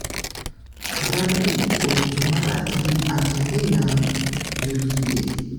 Brad Pitt 'owinjo marach' gi Angelina Jolie